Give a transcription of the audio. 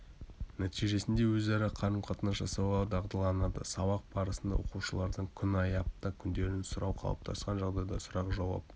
нәтижесінде өзара қарым-қатынас жасауға дағдыланады сабақ басында оқушылардан күн ай апта күндерін сұрау қалыптасқан жағдай сұрақ-жауап